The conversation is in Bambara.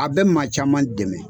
A bɛ maa caman dɛmɛ.